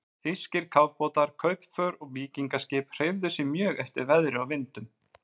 Þýskir kafbátar, kaupför og víkingaskip hreyfðu sig mjög eftir veðri og vindum.